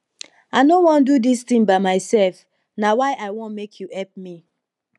i no wan do dis thing by myself na why i wan make you help me